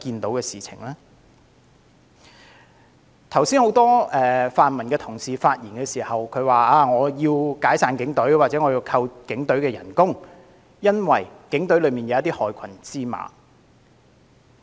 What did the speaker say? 很多泛民同事剛才發言時，都要求解散警隊或削減警員薪酬，因為警隊有害群之馬。